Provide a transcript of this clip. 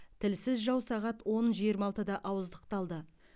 тілсіз жау сағат он жиырма алтыда ауыздықталды